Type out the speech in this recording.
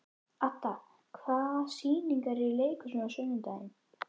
Adda, hvaða sýningar eru í leikhúsinu á sunnudaginn?